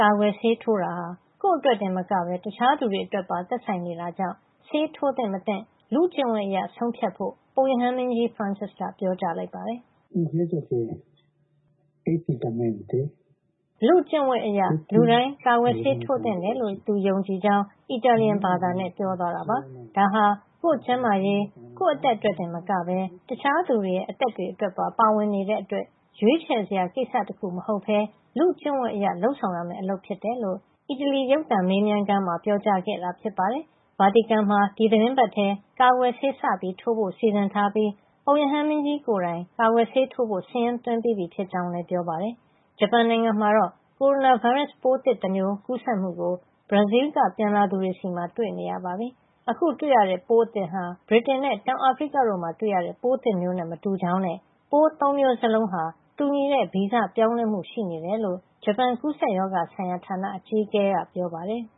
ကာကွယ်ဆေးထိုးတာဟာ ကိုယ့်အတွက်တင်မကဘဲ တခြားလူတွေအတွက်ပါ သက်ဆိုင်နေတာကြောင့် ဆေးထိုးသင့်မသင့် လူ့ကျင့်ဝတ်အရ ဆုံးဖြတ်ဖို့ ပုပ်ရဟန်းမင်းကြီး Francis က ပြောကြားလိုက်ပါတယ်။ “လူ့ကျင့်ဝတ်အရ လူတိုင်း ကာကွယ်ဆေးထိုးသင့်တယ်လို့ ယုံကြည်ကြောင်း” အီတာလီယံဘာသာနဲ့ ပြောသွားတာပါ။ ဒါဟာ ကိုယ့်ကျန်းမာရေး၊ ကိုယ့်အသက်အတွက်တင် မကဘဲ တခြားလူတွေရဲ့ အသက်တွေအတွက်ပါ ပါဝင်နေတဲ့အတွက် ရွေးချယ်စရာကိစ္စတခု မဟုတ်ဘဲ လူ့ကျင့်ဝတ်အရ လုပ်ဆောင်ရမယ့်အလုပ်ဖြစ်တယ်လို့ အီတလီရုပ်သံ Canale 5 ရဲ့ မေးမြန်းခန်းမှာ ပြောကြားခဲ့တာ ဖြစ်ပါတယ်။ ဗာတီကန်မှာ ဒီသီတင်းပတ်ထဲ ကာကွယ်ဆေးစထိုးဖို့ စီစဉ်ထားပြီး ပုပ်ရဟန်းမင်းကြီးကိုယ်တိုင် ကာကွယ်ဆေးထိုးဖို့ စာရင်းသွင်းပြီးပြီ ဖြစ်ကြောင်းလည်း ပြောပါတယ်။ ဂျပန်နိုင်ငံမှာတော့ ကိုရိုနာဗိုင်းရပ်စ်ပိုးသစ်တမျိုး ကူးစက်မှုကို ဘရာဇီးလ်က ပြန်လာသူတွေဆီမှာ တွေ့နေရပါပြီ။ အခုတွေ့ရတဲ့ ပိုးသစ်ဟာ ဗြိတိန်နဲ့ တောင်အာဖရိကတို့မှာ တွေ့တဲ့ ပိုးသစ်မျိုးနဲ့ မတူကြောင်းနဲ့ ပိုး ၃ မျိုးစလုံးဟာ တူညီတဲ့ ဗီဇပြောင်းလဲမှု ရှိနေတယ်လို့ ဂျပန် ကူးစက်ရောဂါဆိုင်ရာဌာန အကြီးအကဲ Takaji Wakita က ပြောပါတယ်။